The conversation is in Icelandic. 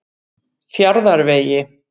Fjarðarvegi